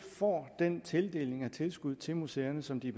får den tildeling af tilskud til museerne som de er